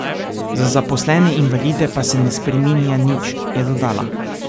Za zaposlene invalide pa se ne spreminja nič, je dodala.